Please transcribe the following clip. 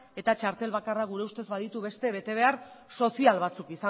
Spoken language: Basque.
eta txartel bakarrak gure ustez baditu beste betebehar sozial batzuk